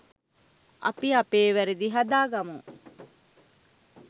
අපි අපේ වැරදි හදාගමු